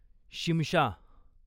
Shimsha